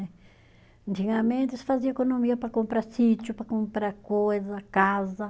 Antigamente eles fazia economia para comprar sítio, para comprar coisa, casa.